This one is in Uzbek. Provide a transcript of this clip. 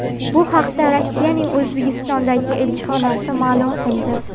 Bu haqda Rossiyaning O‘zbekistondagi elchixonasi ma’lum qildi .